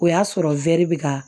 O y'a sɔrɔ wɛri bi ka